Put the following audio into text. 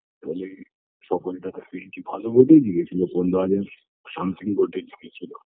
তালে সকলটা যাতে entry ভালোভাবেই দিয়েছিলো কোন দলে something ভোটে জিতে ছিল